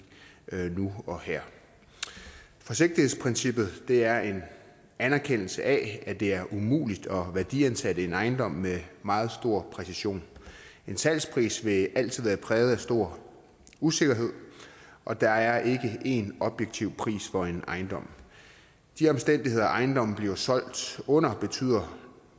nu og her forsigtighedsprincippet er en anerkendelse af at det er umuligt at værdiansætte en ejendom med meget stor præcision en salgspris vil altid være præget af stor usikkerhed og der er ikke én objektiv pris for en ejendom de omstændigheder ejendommen bliver solgt under betyder